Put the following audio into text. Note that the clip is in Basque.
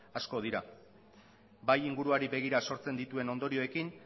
asko dira bai inguruari begira sortzen dituen ondorioekin